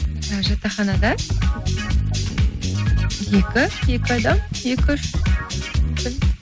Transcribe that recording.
і жатақханада екі екі адам екі үш мүмкін